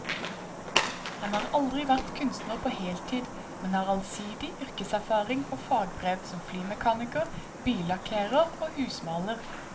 Han har aldri vært kunstner på heltid, men har allsidig yrkeserfaring og fagbrev som flymekaniker, billakkerer og husmaler.